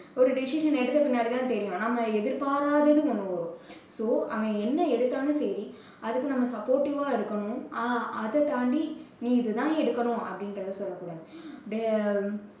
ஒரு decision எடுத்த பின்னாடி தான் தெரியும். நம்ப எதிர்பாராதது பண்ணுவோம் so அவன் என்ன எடுத்தாலும் சரி. அதுக்கு நம்ம supportive ஆ இருக்கணும் அஹ் அதை தாண்டி நீ இதைத் தான் எடுக்கணும் அப்பிடீங்கறதை சொல்லக்கூடாது.